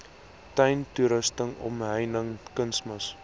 tuintoerusting omheining kunsmis